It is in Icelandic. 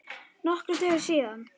Nokkrum dögum síðar.